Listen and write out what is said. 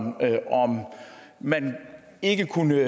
om man ikke kunne